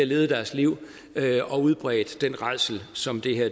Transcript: lavet deres liv der og udbredt den rædsel som det her